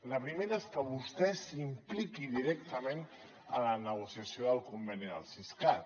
la primera és que vostè s’impliqui directament en la negociació del conveni del siscat